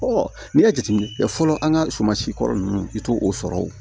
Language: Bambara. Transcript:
n'i ye jateminɛ kɛ fɔlɔ an ka suma sikɔrɔ ninnu i t'o sɔrɔ o